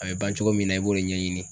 A bɛ ban cogo min na i b'o de ɲɛɲini